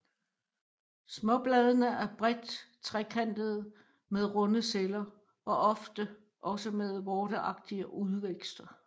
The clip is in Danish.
Småbladene er bredt trekantede med runde celler og ofte også med vorteagtige udvækster